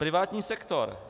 Privátní sektor.